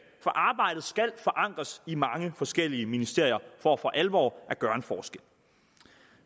for arbejdet skal forankres i mange forskellige ministerier for for alvor at gøre en forskel